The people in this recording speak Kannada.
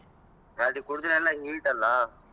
ಅದು ಕುಡ್ದ್ರೆ ಎಲ್ಲಾ heat ಅಲ್ಲಾ.